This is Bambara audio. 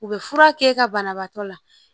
U bɛ fura k'e ka banabaatɔ la